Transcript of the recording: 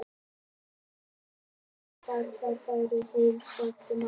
Komdu svo við á róluvellinum og taktu tvíburana með heim, sagði mamma.